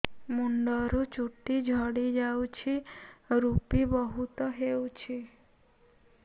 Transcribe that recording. ମୁଣ୍ଡରୁ ଚୁଟି ଝଡି ଯାଉଛି ଋପି ବହୁତ ହେଉଛି